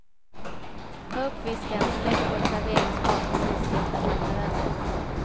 Tag upp fisken och lägg på ett serveringsfat med nystekta kantareller.